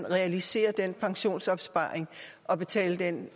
realisere den pensionsopsparing og betale den